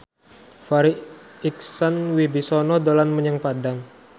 Farri Icksan Wibisana dolan menyang Padang